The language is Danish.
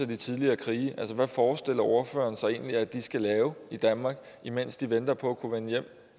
de tidligere krige hvad forestiller ordføreren sig egentlig at de skal lave i danmark imens de venter på at kunne vende hjem